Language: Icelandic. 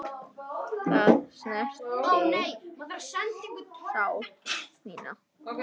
Það snertir sál mína.